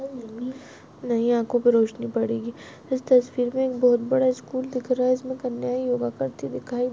नई आखो पे रोशनी पड़ेगी इस तस्वीर मे बहोत बड़ा स्कूल दिख रहा है इसमे कन्याए योगा करती--